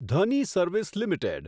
Dhani service limited